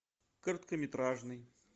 короткометражный